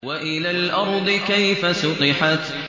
وَإِلَى الْأَرْضِ كَيْفَ سُطِحَتْ